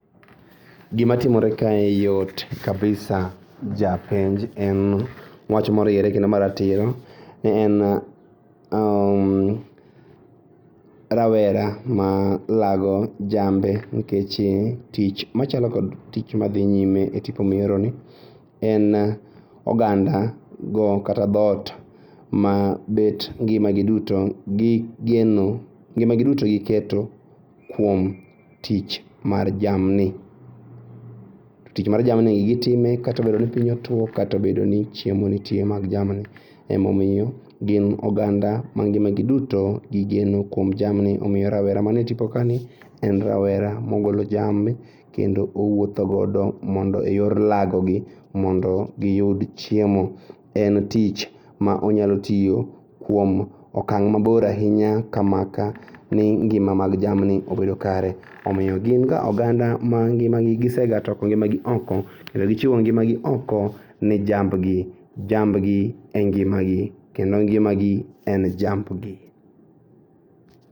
Gimatimore kae yot kabisa japenj en wach moriere kendo maratiro. En rawera ma lago jambe nikech tich machalo kod tich madhi nyime e tipo mioroni en ogandago kata dhot mabet ngima gi duto gigeno, ngima gi duto giketo kuom tich mar jamni. To tich mar jamni gitime katobedo ni piny otuo katobedoni chiemo nitie mag jamni. Emomiyo gin oganda ma ngimagi duto gigeno kuom jamni, omiyo rawera mane tipo kani en rawera mogolo jamni kendo owuotho godo mondo e yor lagogi mondo giyud chiemo. En tich ma onyalo tiyo kuom akang' mabor ainya ka maka ni ngima mag jamni obedo kare omiyo ginga oganda ma ngima gi gisegatoko ngimagi oko kendo gichiwo ngimagi oko ne jambgi. Jambgi e ngimagi kendo ngimagi en jambgi.